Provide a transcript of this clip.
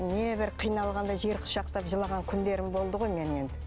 небір қиналғанда жер құшақтап жылаған күндерім болды ғой менің енді